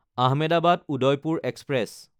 Ahmedabad Udaipur express